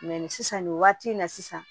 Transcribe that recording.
sisan nin waati in na sisan